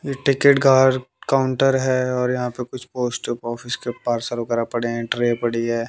ये टिकट घर काउंटर है और यहां पे कुछ पोस्ट ऑफिस के पार्सल वगैरह पड़े हैं ट्रे पड़ी है।